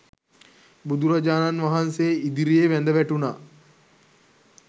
බුදුරජාණන් වහන්සේ ඉදිරියේ වැඳ වැටුණා.